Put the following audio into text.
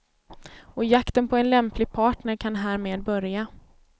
Och jakten på en lämplig partner kan härmed börja.